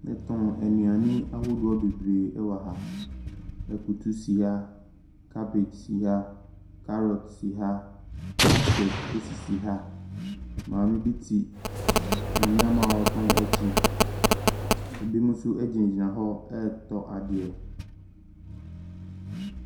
Yɛtɔn nnuane ahodoɔ bebree ɛwɔ ha. Akutu si ha, kabage si ha, karot si ha, baskɛte esisi ha. Maame bi te ne nneɛma a ɔtɔn akyi. Ebinom nso egyina gyina hɔ ɛtɔ adeɛ.